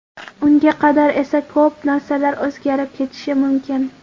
Unga qadar esa ko‘p narsalar o‘zgarib ketishi mumkin.